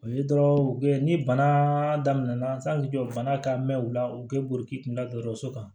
O ye dɔrɔn ni bana daminɛna jɔ bana ka mɛ u la u kɛ burukina dɔgɔtɔrɔso kan